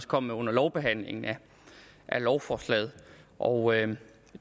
kom med under lovbehandlingen af lovforslaget og